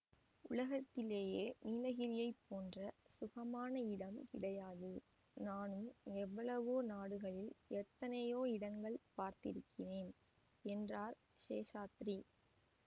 உலகத்திலேயே நீலகிரியைப் போன்ற சுகமான இடம் கிடையாது நானும் எவ்வளவோ நாடுகளில் எத்தனையோ இடங்கள் பார்த்திருக்கிறேன் என்றார் சேஷாத்ரி